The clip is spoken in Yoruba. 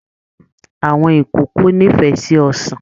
Àwọn ìkòkò n'ifẹ sí ọsán